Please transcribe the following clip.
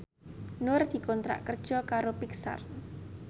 Nur dikontrak kerja karo Pixar